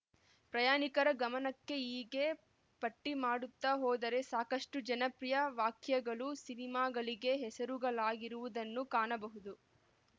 ಪ್ರಯಾಣಿಕರ ಗಮನಕ್ಕೆ ಹೀಗೆ ಪಟ್ಟಿಮಾಡುತ್ತ ಹೋದರೆ ಸಾಕಷ್ಟು ಜನಪ್ರಿಯ ವಾಕ್ಯಗಳು ಸಿನಿಮಾಗಳಿಗೆ ಹೆಸರುಗಳಾಗಿರುವುದನ್ನು ಕಾಣಬಹುದು